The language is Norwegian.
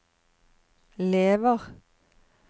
lever